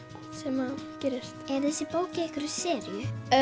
sem gerist er þessi bók í einhverri seríu